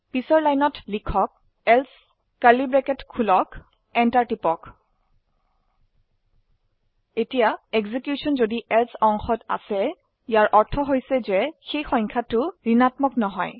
পিছৰ লাইনত লিখক এলছে enter টিপক এতিয়া এক্সিকিউশন যদি এলছে অংশত আসে ইয়াৰ অৰ্থ হৈছে যে সেই সংখ্যাটি ঋণাত্মক নহয়